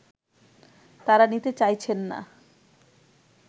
তারা নিতে চাইছেন না